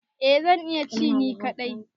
Eh zan iya ci ni kadai.